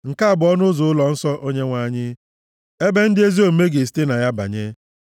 Nke a bụ ọnụ ụzọ ụlọnsọ Onyenwe anyị, ebe ndị ezi omume ga-esite na ya banye.